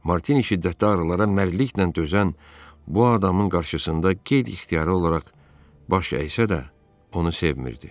Martini şiddətli ağrılara mərdliklə dözən bu adamın qarşısında qeyri-ixtiyari olaraq baş əysə də, onu sevmirdi.